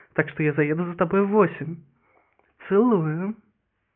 так что я заеду за тобой в восемь целую